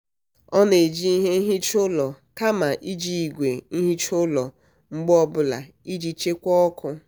ọ na-eji ihe nhicha ụlọ kama iji igwe nhicha ụlọ mgbe ọbụla iji chekwaa ọkụ.